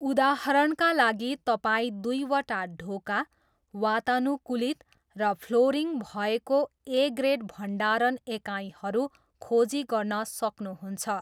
उदाहरणका लागि, तपाईँ दुईवटा ढोका, वातानुकूलित, र फ्लोरिङ भएको ए ग्रेड भण्डारण एकाइहरू खोजी गर्न सक्नुहुन्छ।